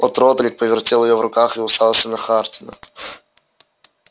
от родрик повертел её в руках и уставился на хардина